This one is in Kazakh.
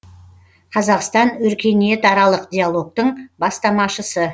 қазақстан өркениетаралық диалогтың бастамашысы